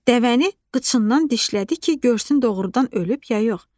Dəvəni qıçından dişlədi ki, görsün doğrudan ölüb ya yox.